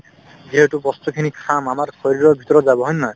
যিহেতু বস্তুখিনি খাম আমাৰ শৰীৰৰ ভিতৰত যাব হয় নে নহয়